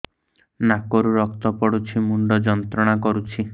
ନାକ ରୁ ରକ୍ତ ପଡ଼ୁଛି ମୁଣ୍ଡ ଯନ୍ତ୍ରଣା କରୁଛି